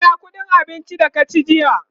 ka biya ƙuɗin abincin da ka ci jiya?